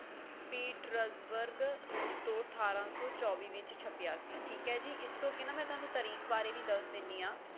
petersburg ਰੂਸ ਤੋਂ ਅਠਾਰਾਂ ਸੌ ਚੌਵੀ ਵਿੱਚ ਛਪਿਆ ਸੀ ਠੀਕ ਹੈ ਜੀ ਇਸ ਤੋਂ ਅੱਗੇ ਨਾ ਮੈਂ ਤੁਹਾਨੂੰ ਤਰੀਕ ਬਾਰੇ ਵੀ ਦੱਸ ਦੇਣੀ ਆ